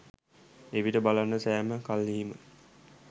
එවිට බලන්න සෑම කල්හීම